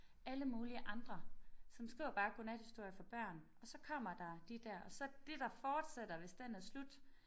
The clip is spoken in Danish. Alle mulige andre som skriver bare godnathistorier for børn og så kommer der de der og så det der fortsætter hvis den er slut